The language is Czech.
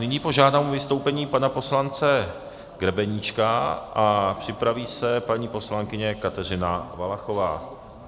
Nyní požádám o vystoupení pana poslance Grebeníčka a připraví se paní poslankyně Kateřina Valachová.